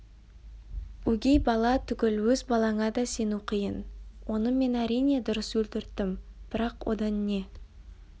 өгей бала түгіл өз балаңа да сену қиын оны мен әрине дұрыс өлтірттім бірақ одан не